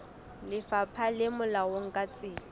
lefapha le molaong ka tsela